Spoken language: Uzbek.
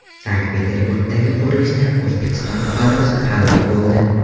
Sankt-Peterburgdagi qurilishda O‘zbekiston fuqarosi halok bo‘ldi.